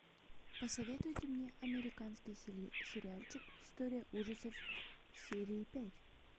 посоветуйте мне американский сериальчик истории ужасов серия пять